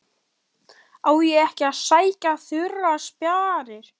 Á ég ekki að sækja þurrar spjarir?